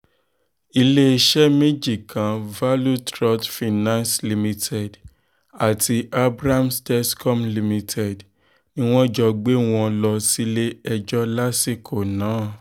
iléeṣẹ́ méjì kan value trust finance limited àti abrahams telcoms limited ni wọ́n jọ gbé wọn lọ sílé-ẹjọ́ lásìkò náà